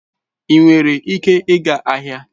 Ị nwere ike ịga ahịa?